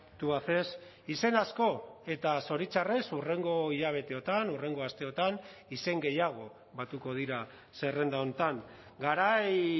tubacex izen asko eta zoritxarrez hurrengo hilabeteotan hurrengo asteotan izen gehiago batuko dira zerrenda honetan garai